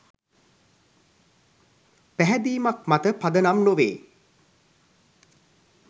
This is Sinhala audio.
පැහැදීමක් මත පදනම් නොවේ.